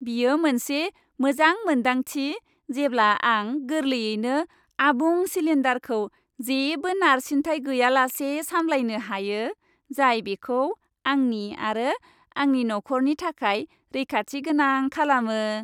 बेयो मोनसे मोजां मोन्दांथि जेब्ला आं गोरलैयैनो आबुं सिलिन्डारखौ जेबो नारसिनथाय गैयालासे सामलायनो हायो, जाय बेखौ आंनि आरो आंनि नखरनि थाखाय रैखाथिगोनां खालामो।